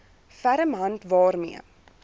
ferm hand waarmee